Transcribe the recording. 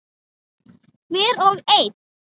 Hver og ein.